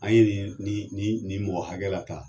An ye nin ye nin nin nin mɔgɔ hakɛ lataa.